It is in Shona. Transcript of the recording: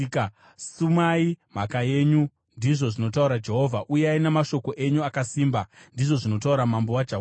“Sumai mhaka yenyu,” ndizvo zvinotaura Jehovha. “Uyai namashoko enyu akasimba,” ndizvo zvinotaura Mambo waJakobho.